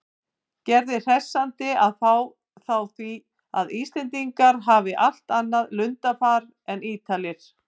Gerði hressandi að fá þá því að Íslendingar hafi allt annað lundarfar en Ítalir.